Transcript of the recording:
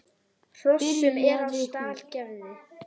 Hrossum er á stall gefið.